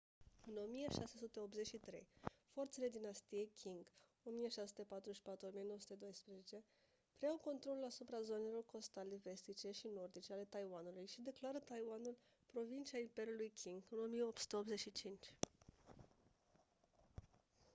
în 1683 forțele dinastiei qing 1644 - 1912 preiau controlul asupra zonelor costale vestice și nordice ale taiwanului și declară taiwanul provincie a imperiului qing în 1885